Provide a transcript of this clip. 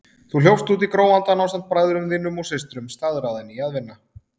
Þú hljópst út í gróandann ásamt bræðrum þínum og systrum, staðráðinn í að vinna.